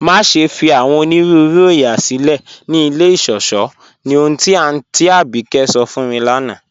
Maṣẹ̀ fi awọn onírùúrù oóyà silẹ̀ ni ilẹ̀ ìṣọ̀ṣọ̀ ní ọ̀hun ti Aunty Abike sọ̀ fún mi lána